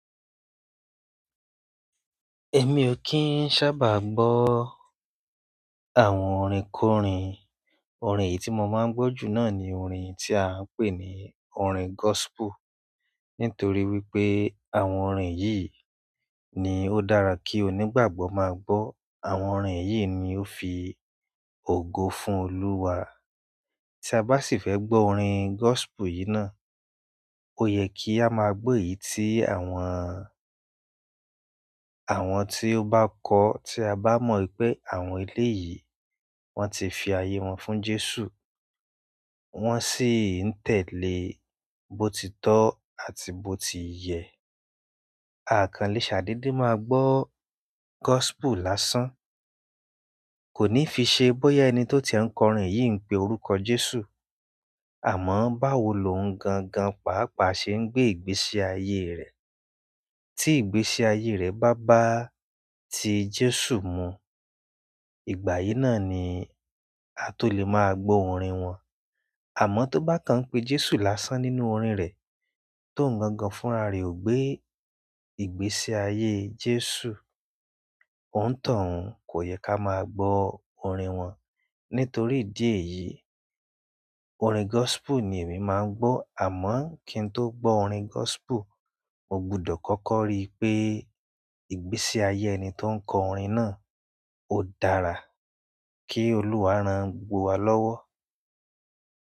Èmi ò kí ń sábà gbọ́ o àwọn orin kórin, orin èyí tí mo máa ń gbọ́ jù náà ni orin tí à ń pè ní orin gospel. Nítorí wípé àwọn orin yìí ni ó dára kí onígbàgbọ́ máa gbọ́. Àwọn orin yìí ni ó fi ògo fún Olúwa. Tí a bá sì fẹ́ gbọ́ orin gospel yìí náà, ó yẹ kí a máa gbo èyí tí àwọn, àwọn tí ó bá kọ, tí a bá mọ̀ wípé àwọn eléyìí wón ti fi àye wọn fún Jésù, wón sì ń tẹ̀lé botitọ́ àti botiyẹ̀. À kan lé ṣà dede máa gbọ́ gospel lásán. Kò ní fi ṣe bóyá ẹni tó ti e ń kọ́ orin yìí ń pe orúkọ Jésù, àmọ́ báwo lò ń gangan, pàápàá ṣe ń gbé ìgbésí ayé rẹ̀. Tí ìgbésí ayé rẹ̀ bá bá ti Jésù mu, ìgbà yìí náà ni a tó lè máa gbọ́ ọ̀rin wọn. Àmọ́ tó bá kan pé Jésù lásán nínú orin rẹ̀, tóuń gangan fúnra rẹ̀ ó gbé ìgbésí ayé Jésù, òni tọ̀un, kò yẹ ká máa gbọ́ orin wọn. Nítorí ìdí èyí, orin gospel ni èmi máa ń gbọ́. Àmọ́ kí n tó gbọ́ orin gospel, mo gbọdọ̀ kọ́kọ́ rí pé ìgbésí ayé ẹni tó ń kọ orin náà ó dára. Kí Olúwa rán gbogbo wa lọ́wọ́.